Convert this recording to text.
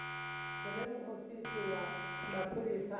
hune muofisi wa mapholisa a